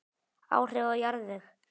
Áhrif á jarðveg